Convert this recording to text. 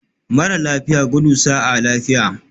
Mara lafiya, gudu sa'a lafiya